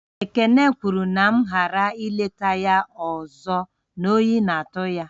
Ekene kwuru na ka m ghara ị leta ya ọzọ, oyi na-atụ ya